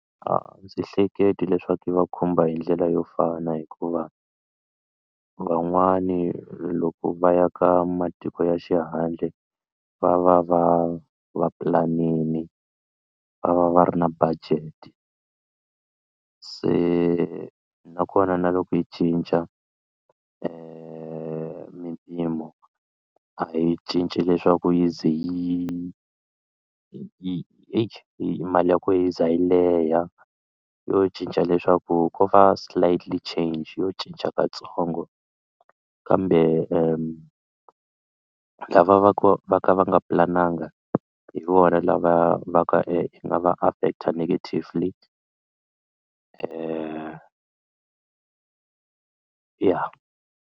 A ndzi hleketi leswaku yi va khumba hi ndlela yo fana hikuva van'wani loko va ya ka matiko ya xihandle va va va va pulanini va va va ri na budget se nakona na loko yi cinca mimpimo a yi cinci leswaku yi ze yi yi eyi mali ya kona yi za yi leha yo cinca leswaku ko va slightly change yo cinca katsongo kambe lava va va ku va ka va nga pulanangi hi vona lava va nga yi nga va affect negatively ya.